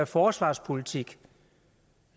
forsvarspolitik